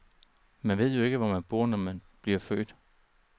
Man ved jo ikke, hvor man bor, når man bliver født.